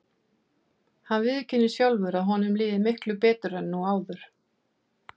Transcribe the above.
Hann viðurkennir sjálfur að honum líði miklu betur nú en áður.